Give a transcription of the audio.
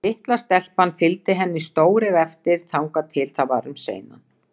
Og litla stelpan fylgdi henni stóreyg eftir þangað til það var um seinan.